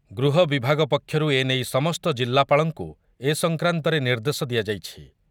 ଗୃହ ବିଭାଗ ପକ୍ଷରୁ ଏ ନେଇ ସମସ୍ତ ଜିଲ୍ଲାପାଳଙ୍କୁ ଏ ସଂକ୍ରାନ୍ତରେ ନିର୍ଦ୍ଦେଶ ଦିଆଯାଇଛି ।